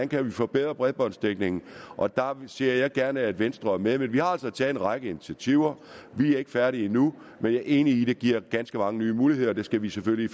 kan forbedre bredbåndsdækningen og der ser jeg gerne at venstre er med men vi har altså taget en række initiativer vi er ikke færdige endnu men jeg er enig i at det giver ganske mange nye muligheder og det skal vi selvfølgelig